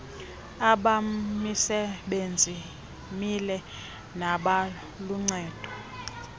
abamisebenzi mihle nabaluncedo